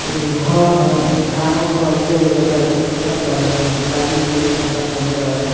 एगो घोर ह ऐमे घरवा के अरिया-उरिया लइका खेलअ तारे सं गुलाबी-गुलाबी कपडा पेहनले बाड़े सं।